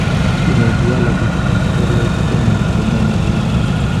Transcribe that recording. Hemodyalisis ak periotoneal komenyai soromoak